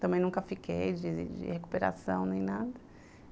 Também nunca fiquei de de recuperação nem nada.